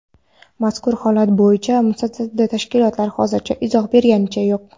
Mazkur holat bo‘yicha mutasaddi tashkilotlar hozircha izoh bergani yo‘q.